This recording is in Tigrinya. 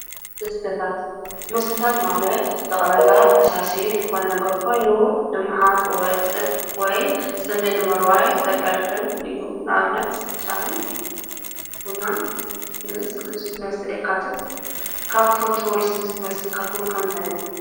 መስተታት:- መስተታት ማለት ጠቕላላ ፈሳሲ ዝኮነ ነገር ኾይኑ ብረሃፅ ዝወፅእ ወይ ፅምኢ ንምርዋይ ዘገልግል እዩ። ንአብነት ማይ ቡናን ምስ ልስሉስ መስተ ይካተት። ካብ እትፈትውዎ ልስሉስ መስተ ከ እንታይ እዩ?